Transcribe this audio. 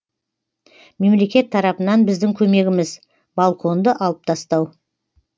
мемлекет тарапынан біздің көмегіміз балконды алып тастау